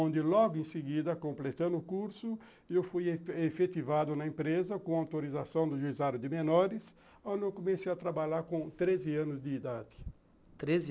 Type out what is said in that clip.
onde logo em seguida, completando o curso, eu fui efetivado na empresa com autorização do juizado de menores, onde eu comecei a trabalhar com treze anos de idade.